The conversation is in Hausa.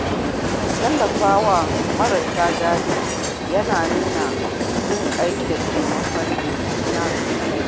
Tallafawa marasa galihu yana nuna jinƙai da taimakon juna sosai.